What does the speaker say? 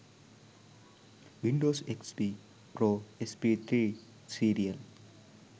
windows xp pro sp3 serial